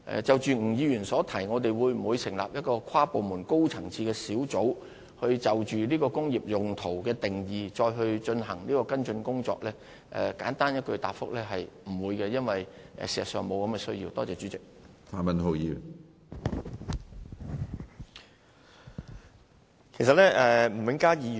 就着吳議員詢問我們會否成立一個跨部門及高層次的工作小組，就"工業用途"一詞的定義進行跟進工作，簡單的答覆是不會的，因為事實上並無此需要。